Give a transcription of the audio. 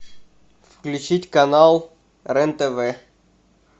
включить канал рен тв